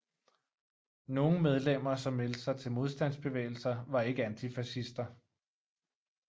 Nogle medlemmer som meldte sig til modstandsbevægelser var ikke antifascister